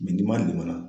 ni malim